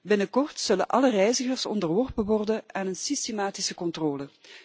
Binnenkort zullen alle reizigers onderworpen worden aan een systematische controle.